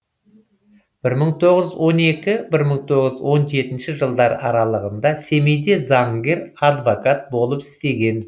бір мың тоғыз жүз он екі бір мың тоғыз жүз он жетінші жылдар аралығында семейде заңгер адвокат болып істеген